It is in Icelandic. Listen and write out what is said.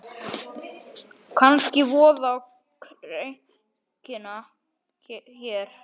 Kannski vofa á kreiki hér.